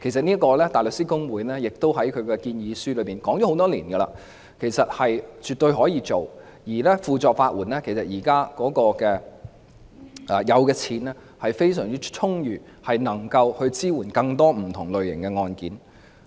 香港大律師公會多年來在建議書中指出，這是絕對可行的，而法律援助署現時財政亦非常充裕，能夠支援處理更多不同類型的案件。